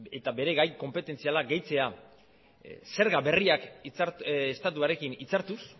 eta bere gai konpetentzialak gehitzea zerga berriak estatuarekin hitzartuz